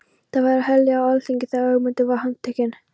Það var herlið á alþingi þegar Ögmundur var handtekinn.